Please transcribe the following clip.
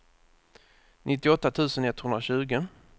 nittioåtta tusen etthundratjugo